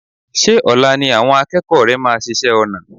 Ṣé ọ̀la ni àwọn akẹ́kọ̀ọ́ rẹ máa ṣiṣẹ́ ọnà?